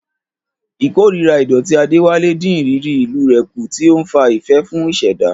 Ìkórìíra ìdọ̀tí Adewale dín ìrírí ìlú rẹ̀ kù, tí ó ń fa ìfẹ́ fún ìṣẹ̀dá.